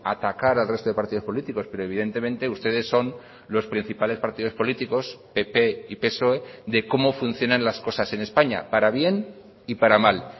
atacar al resto de partidos políticos pero evidentemente ustedes son los principales partidos políticos pp y psoe de cómo funcionan las cosas en españa para bien y para mal